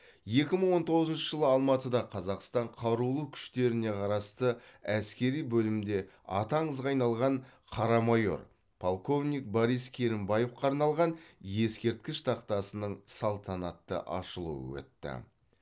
екі мың он тоғызыншы жылы алматыда қазақстан қарулы күштеріне қарасты әскери бөлімде аты аңызға айналған қара майор полковник борис керімбаевқа арналған ескерткіш тақтасының салтанатты ашылуы өтті